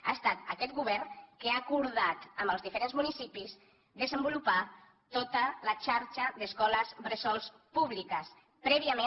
ha estat aquest govern que ha acordat amb els diferents municipis desenvolupar tota la xarxa d’escoles bressol públiques prèviament